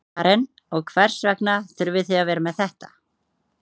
Karen: Og hvers vegna þurfið þið að vera með þetta?